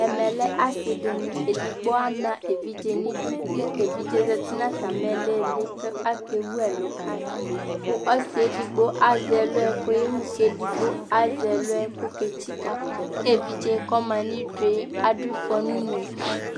ɛkɛ lɛ asii dini, ɛdigbɔ ama ɛvidzɛ nʋ idʋ kʋ ɛvidzɛ zati nʋ atami ilili kʋ akɛ wʋ ɛlʋ kayi kʋ ɔsiiɛ ɛdigbɔ azɛ ɛlʋɛ kʋ ɔkɛwʋ kʋ ɛdigbɔ azɛ ɛlʋɛ kʋ ɔkɛtsika kʋ ɛvidzɛ kʋ ɔma nʋ idʋɛ adʋ iƒɔ nʋ ʋnʋkʋ